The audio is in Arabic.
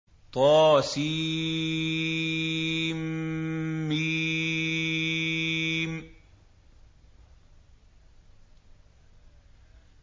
طسم